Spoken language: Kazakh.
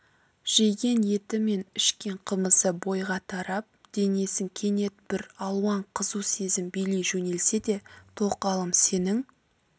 жеген еті мен ішкен қымызы бойға тарап денесін кенет бір алуан қызу сезім билей жөнелсе де тоқалым сенің